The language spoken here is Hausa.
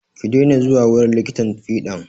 Ki dena zuwa wurin likitan fiɗan!